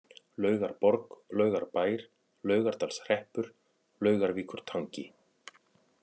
Laugarborg, Laugarbær, Laugardalshreppur, Laugarvíkurtangi